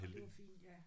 Det var fint ja